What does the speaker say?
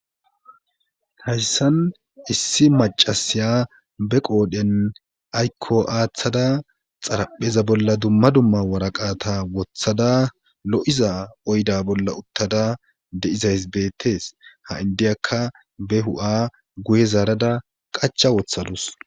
Hayssan issi macasiya be qoodhen aykko aaththada xarapheza bolla dumma dumma waraqa ta wothada lo7iza oyda bolla uttada de7izays beettees ha indiyakka be hu7a guye zaarada qacha wothadus.